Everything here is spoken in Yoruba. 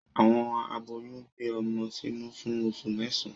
Awọn aboyún gbé ọmọ sínú fún oṣu mẹsan